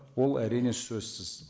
ол әрине сөзсіз